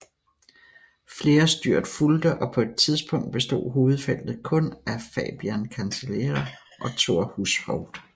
Flere styrt fulgte og på et tidspunkt bestod hovedfeltet kun af Fabian Cancellara og Thor Hushovd